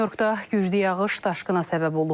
Nyu-Yorkda güclü yağış daşqına səbəb olub.